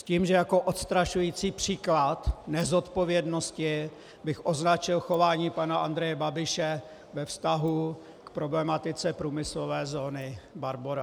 S tím, že jako odstrašující příklad nezodpovědnosti bych označil chování pana Andreje Babiše ve vztahu k problematice průmyslové zóny Barbora.